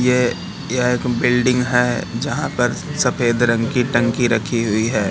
ये यह एक बिल्डिंग है जहां पर सफेद रंग की टंकी रखी हुई है।